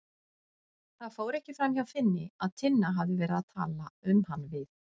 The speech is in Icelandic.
Það fór ekki framhjá Finni að Tinna hafði verið að tala um hann við